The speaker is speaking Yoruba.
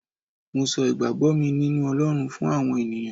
mo so igbagbo mi ninu olorun fún àwọn ènìyàn